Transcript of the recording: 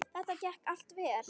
Þetta gekk allt vel.